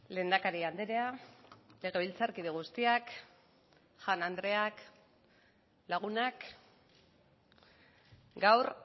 lehendakari andrea legebiltzarkide guztiak jaun andreok lagunak gaur